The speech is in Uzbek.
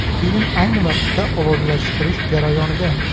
Film ayni vaqtda ovozlashtirish jarayonida.